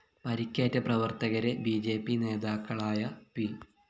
പരിക്കേറ്റ പ്രവര്‍ത്തകരെ B J P നേതാക്കളായ പി